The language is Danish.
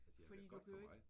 Fordi du kan jo ikke